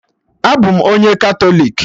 Abụ m onye Katọlik